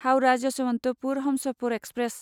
Howrah Yesvantpur Humsafar express